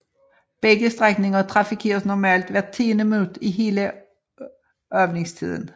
Begge strækninger trafikeres normalt hvert tiende minut i hele åbningstiden